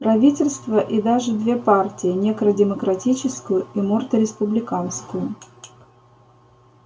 правительство и даже две партии некро-демократическую и морто-республиканскую